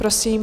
Prosím.